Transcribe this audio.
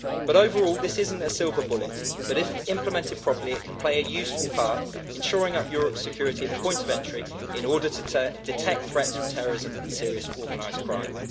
Overall, this is not a silver bullet, but if implemented properly it can play a useful part in shoring up Europe's security at the point of entry in order to detect threats from terrorism and serious organised crime.